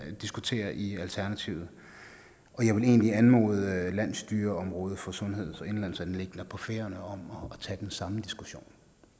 vi diskuterer i alternativet og jeg vil egentlig anmode landsstyreområdet for sundheds og indenlandsanliggender på færøerne om at tage den samme diskussion